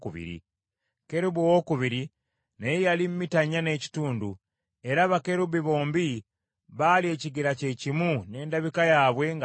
Kerubi owookubiri naye yali mita nnya n’ekitundu, era bakerubi bombi baali ekigero kye kimu n’endabika yaabwe nga y’emu.